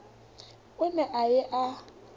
o ne a ye a